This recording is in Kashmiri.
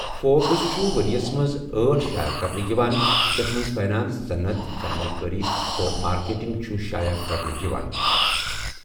فوربس چھُ ؤریس منز ٲٹھ شایع کَرنہ یِوان يتھ منز فٔنانس، صنعت، سرمایہ کاری، تہٕ مارکیٹنگ چھُ شایع کَرنہ یِوان.